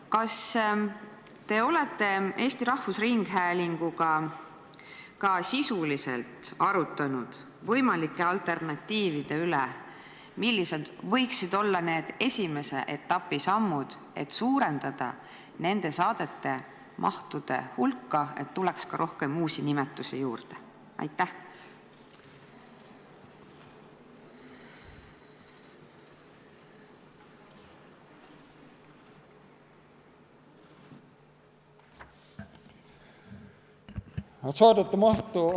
Kas te olete Eesti Rahvusringhäälinguga ka sisuliselt arutanud võimalike alternatiivide üle, millised võiksid olla esimese etapi sammud, et suurendada nende saadete mahtu ja hulka, et tuleks ka rohkem uusi nimetusi juurde?